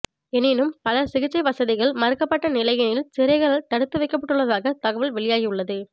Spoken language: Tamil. எனினும் பலர் சிகிச்சை வசதிகள் மறுக்கப்பட்ட நிலையினில் சிறைகளள் தடுத்து வைக்ப்பட்டுள்ளதாக தகவல்கள் வெளியாகியுள்ளது